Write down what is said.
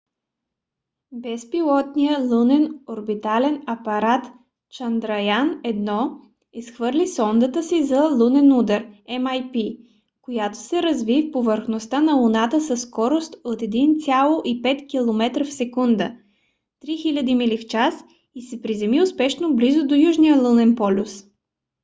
безпилотният лунен орбитален апарат чандраян-1 изхвърли сондата си за лунен удар mip която се разби в повърхността на луната със скорост от 1,5 километра в секунда 3000 мили в час и се приземи успешно близо до южния лунен полюс